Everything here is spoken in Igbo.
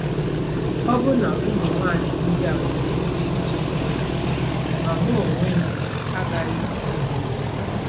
Ọbụna ụmụ nwanyị ndị a nwere ike ichefu, ma m onwe m agaghị echefu gị."